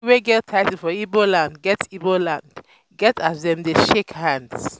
pipo wey get title for ibo land get ibo land get as dem dey um shake um hands. um